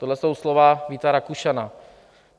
Tohle jsou slova Víta Rakušana.